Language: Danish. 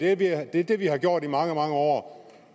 er det er det vi har gjort i mange mange år